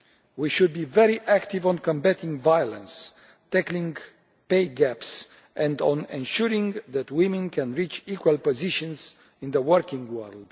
We should be very active on combating violence, tackling pay gaps and on ensuring that women can reach equal positions in the working world.